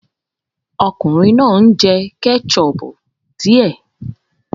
Ọkùnrin náà ń jẹ ketchup díẹ̀